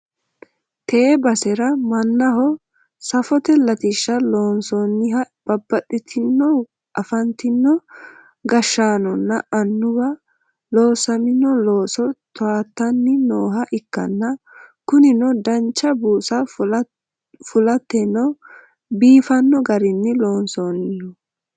tee basera mannaho safote latishsha loonsoonniha babbaxxitino afantino gashshaanonna annuwi loosami'no looso towaattanni nooha ikkanna, kunino dancha buusa fulateno biifanno garinni loonsoonniho.